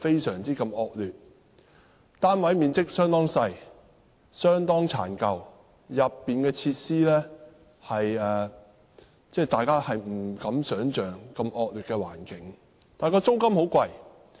殘舊的單位面積相當細小，設施的惡劣程度令人不敢想象，但租金卻十分昂貴。